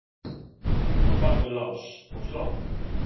á bak við lás og slá.